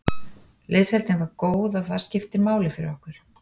Liðsheildin var góð og það skiptir máli fyrir okkur.